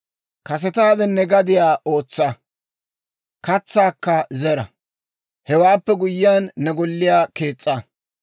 Kasetaade ne gadiyaa ootsa; katsaakka zera; hewaappe guyyiyaan, ne golliyaa kees's'a.